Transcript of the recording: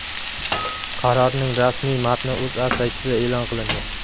Qarorning rasmiy matni O‘zA saytida e’lon qilindi .